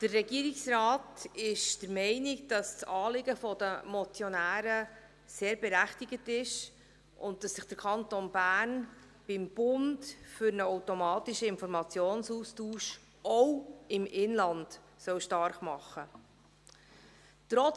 Der Regierungsrat ist der Meinung, dass das Anliegen der Motionäre sehr berechtigt ist und dass sich der Kanton Bern beim Bund für einen automatischen Informationsaustausch auch im Inland stark machen soll.